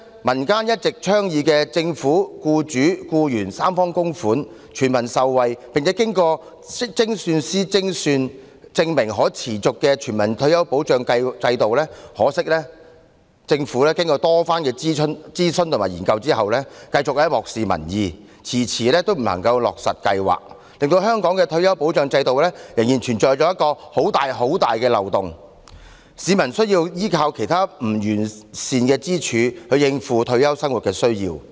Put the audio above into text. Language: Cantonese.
民間一直倡議由政府、僱主及僱員三方供款，全民受惠，並經精算師計算證明可持續的全民退休保障制度，可惜政府經過多番諮詢及研究後繼續漠視民意，遲遲不肯落實，令香港的退休保障制度仍然存有一個很大的漏洞，市民需要依靠其他不完善的支柱，應付退休生活的需要。